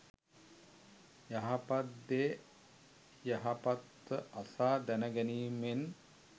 යහපත් දේ යහපත්ව අසා දැනගැනීමෙන්